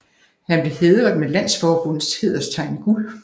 Han bkev hædret med landsforbundets hæderstegn i guld